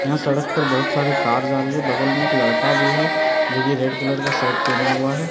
यहां सड़क पर बहुत सारी कार जा रही है बगल में एक लड़का भी है जो की रेड कलर का शर्ट पेहना हुआ है।